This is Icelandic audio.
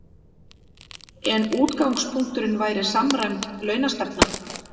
En útgangspunkturinn væri samræmd launastefna